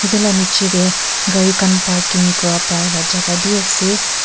taila nichetey gari khan parking kuriwo pareh la jagah bi ase.